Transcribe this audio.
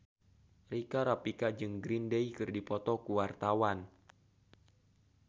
Rika Rafika jeung Green Day keur dipoto ku wartawan